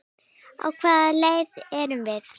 Á hvaða leið erum við?